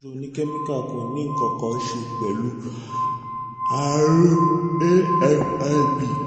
oníkẹ́míkà kò ní nǹkan kan ṣe pẹ̀lú àrùn a-fib